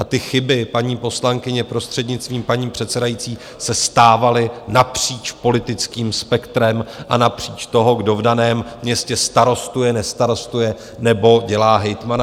A ty chyby, paní poslankyně, prostřednictvím paní předsedající, se stávaly napříč politickým spektrem a napříč toho, kdo v daném městě starostuje, nestarostuje nebo dělá hejtmana.